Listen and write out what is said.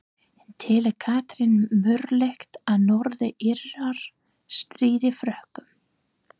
En telur Katrín mögulegt að Norður Írar stríði Frökkum?